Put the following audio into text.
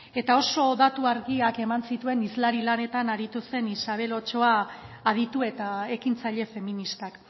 oso datu argiak eman zituen hizlari lanetan aritu zen isabel ochoa aditu eta ekintzaile feminista